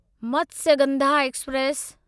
Matsyagandha express